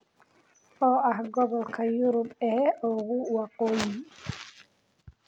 oo ah gobolka Yurub ee ugu waqooyi